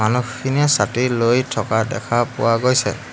মানুহখিনিয়ে ছাতি লৈ থকা দেখা পোৱা গৈছে।